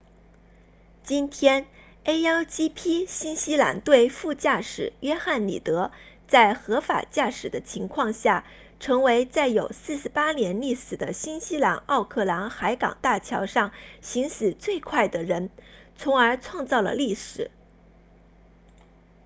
今天 a1gp 新西兰队副驾驶约翰里德 jonny reid 在合法驾驶的情况下成为在有48年历史的新西兰奥克兰海港大桥上行驶最快的人从而创造了历史